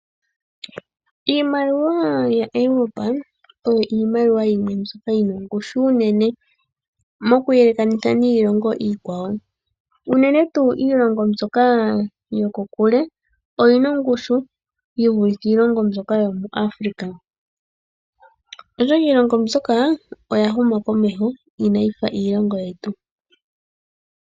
Iimaliwa yaEuropa oyo iimaliwa yimwe mbyoka yi na ongushu unene, moku yelekanitha niilongo iikwawo, unene tuu iilongo mbyoka yokokule oyi na ongushu yi vulithe iilongo mbyoka yomu Afrika, oshoka iilongo mbyoka oya huma komeho ina yi fa iilongo yetu.